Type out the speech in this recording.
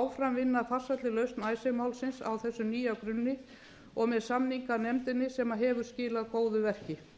áfram vinna að farsælli lausn icesave málsins á þessum nýja grunni og með samninganefndinni sem hefur skilað góðu verki